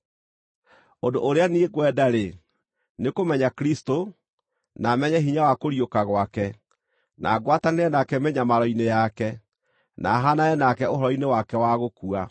Ũndũ ũrĩa niĩ ngwenda-rĩ, nĩ kũmenya Kristũ, na menye hinya wa kũriũka gwake, na ngwatanĩre nake mĩnyamaro-inĩ yake, na haanane nake ũhoro-inĩ wake wa gũkua,